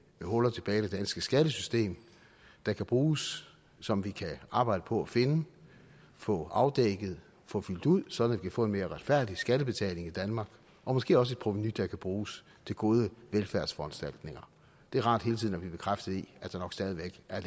huller tilbage i det danske skattesystem der kan bruges som vi kan arbejde på at finde få afdækket få fyldt ud sådan kan få en mere retfærdig skattebetaling i danmark og måske også et provenu der kan bruges til gode velfærdsforanstaltninger det er rart hele tiden at blive bekræftet i at der nok stadig væk er